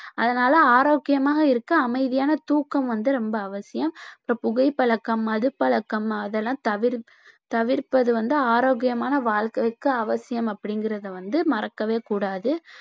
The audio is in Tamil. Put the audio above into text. அதனால ஆரோக்கியமாக இருக்க அமைதியான தூக்கம் வந்து ரொம்ப அவசியம் இப்ப புகைப்பழக்கம், மதுப்பழக்கம் அதெல்லாம் தவிர்~ தவிர்ப்பது வந்து ஆரோக்கியமான வாழ்க்கைக்கு அவசியம் அப்படிங்கிறதை வந்து மறக்கவேகூடாது